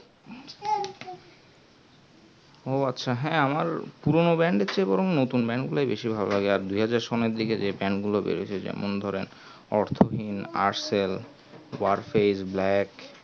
ও আচ্ছা হ্যাঁ আমার পুরোনো band এর চেয়ে বরং নতুন band গুলোই বেশি ভালো লাগে আর দুই হাজার সালের দিকেযেই band গুলো বেরিয়েছে ধরেন যেমন অর্থহীন আর্সেন ওয়ার্সির black